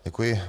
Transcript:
Děkuji.